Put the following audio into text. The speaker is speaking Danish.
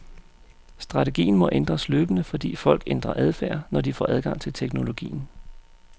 Strategien må ændres løbende, fordi folk ændrer adfærd, når de får adgang til teknologien.